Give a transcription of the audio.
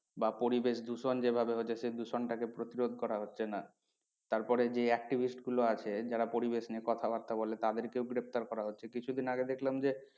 বা পরিবেশ দূষণ যে ভাবে হচ্ছে সেই দূষণটাকে প্রতিরোধ করা হচ্ছে না। তারপরে যে activist গুলো আছে যারা পরিবেশ নিয়ে কথা বার্তা বলে তাদেরকেও গ্রেপ্তার করা হচ্ছে। কিছুদিন আগে দেখলাম যে